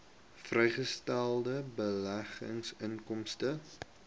vrygestelde beleggingsinkomste